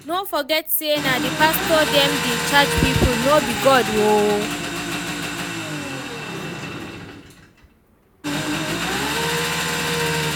No forget say na the pastors dem dey charge people no be God oo